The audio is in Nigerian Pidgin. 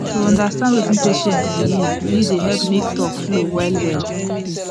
to understand wetin patient believe really dey help make talk flow well well